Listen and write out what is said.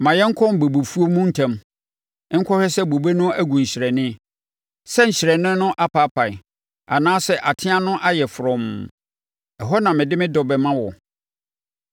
Ma yɛnkɔ bobefuo mu ntɛm nkɔhwɛ sɛ bobe no agu nhyerɛnne, sɛ nhyerɛnne no apaapae, anaasɛ ateaa no ayɛ frɔmm. Ɛhɔ na mede me dɔ bɛma wo.